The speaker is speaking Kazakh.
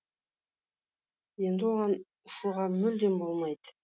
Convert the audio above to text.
енді оған ұшуға мүлдем болмайды